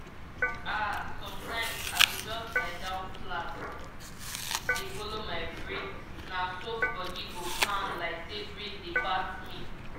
ah sometimes i go just lie down flat dey follow my breath—na so body go calm like say breeze dey pat me.